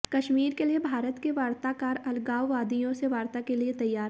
कश्मीर के लिए भारत के वार्ताकार अलगाववादियों से वार्ता के लिए तैयार